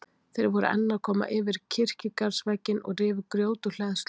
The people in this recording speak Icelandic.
Þeir voru enn að koma yfir kirkjugarðsvegginn og rifu grjót úr hleðslunni.